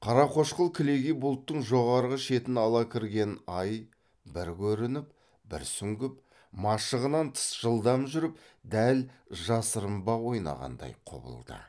қара қошқыл кілегей бұлттың жоғары шетін ала кірген ай бір көрініп бір сүңгіп машығынан тыс жылдам жүріп дәл жасырынбақ ойнағандай құбылды